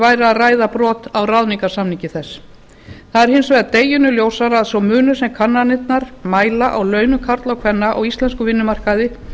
væri að ræða brot á ráðningarsamningi þess það er hins vegar deginum ljósara að sá munur sem kannanirnar mæla á launum karla og kvenna á íslenskum vinnumarkaði